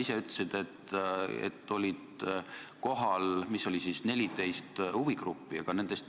Sa ütlesid, et olid esindatud 14 huvigruppi.